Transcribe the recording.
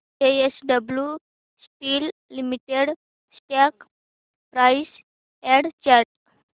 JSW steel limited stock price and chart